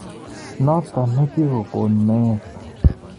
Notok ne kikon meet.